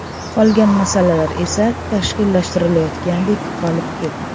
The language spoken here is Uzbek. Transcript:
Qolgan masalalar esa tashkillashtirilayotgandek qolib ketdi.